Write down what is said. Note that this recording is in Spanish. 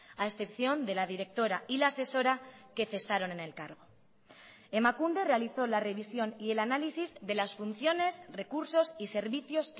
a excepción de la directora y la asesora que cesaron en el cargo emakunde realizó la revisión y el análisis de las funciones recursos y servicios